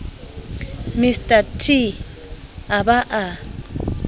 mr t a ba a